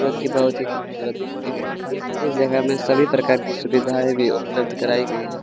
जोकि बहोत ही खूबसूरत दिखते है इस जगह में सभी प्रकार की सुविधाए भी उपलब्ध कराई गई है।